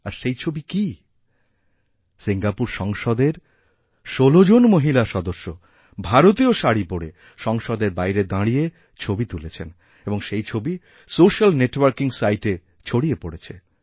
আর সেই ছবি কী সিঙ্গাপুর সংসদের১৬ জন মহিলা সদস্য ভারতীয় শাড়ি পরে সংসদের বাইরে দাঁড়িয়ে ছবি তুলেছেন আর সেই ছবিসোশ্যাল নেটওয়ার্কিং সাইটে ছড়িয়ে পড়েছে